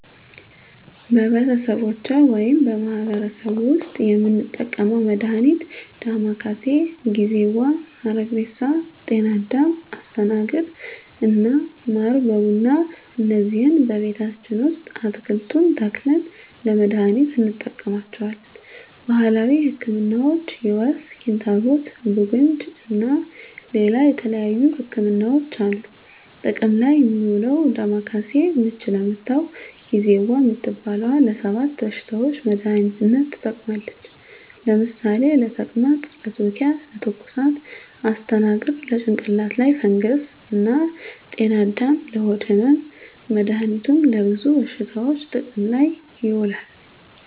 በቤተሰቦቼ ወይም በማህበረሰቡ ቤት ዉስጥ የምንጠቀመዉ መድሃኒት ዳማከሴ፣ ጊዜዋ፣ ሀረግሬሳ፣ ጤናአዳም፣ አስተናግር እና ማር በቡና እነዚህን ቤታችን ዉስጥ አትክልቱን ተክለን ለመድሃኒትነት እንጠቀማቸዋለን። ባህላዊ ህክምናዎች የወፍ፣ ኪንታሮት፣ ቡግንጂ እና ሌላ የተለያዩ ህክምናዎች አሉ። ጥቅም ላይ እሚዉለዉ ዳማከሴ፦ ምች ለመታዉ፣ ጊዜዋ እምትባለዋ ለ 7 በሽታዎች መድሃኒትነት ትጠቅማለች ለምሳሌ፦ ለተቅማጥ፣ ለትዉኪያ፣ ለትኩሳት... ፣ አስተናግር፦ ለጭንቅላት ላይ ፈንገስ እና ጤናአዳም፦ ለሆድ ህመም... መድሃኒቱ ለብዙ በሽታዎች ጥቅም ላይ ይዉላሉ።